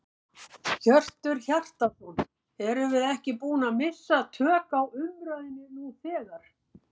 Hjörtur Hjartarson: Erum við ekki búin að missa tök á umræðunni nú þegar?